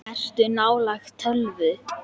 Ertu nálægt tölvu?